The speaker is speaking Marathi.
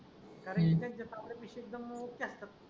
का रे इटनचाय तांबडया पिशवीत असतात.